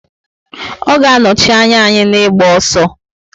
Ọ ga anochi anya anyi na ịgba ọsọ